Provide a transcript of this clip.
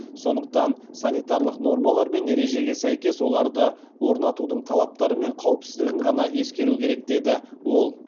сондықтан санитарлық нормалар мен ережеге сәйкес оларды орнатудың талаптары мен қауіпсіздігін ғана ескеру керек деді ол